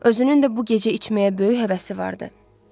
Özünün də bu gecə içməyə böyük həvəsi vardı.